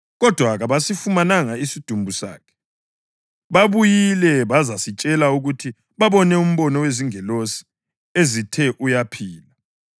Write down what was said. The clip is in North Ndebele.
kodwa kabasifumananga isidumbu sakhe. Babuyile bazasitshela ukuthi babone umbono wezingilosi ezithe uyaphila.